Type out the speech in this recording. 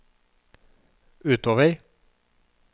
utover